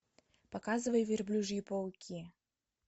показывай верблюжьи пауки